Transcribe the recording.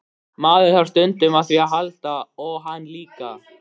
Maður þarf stundum á því að halda og hann líka.